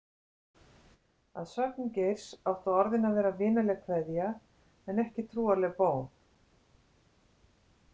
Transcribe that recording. Að sögn Geirs áttu orðin að vera „vinaleg kveðja“ en ekki trúarleg bón.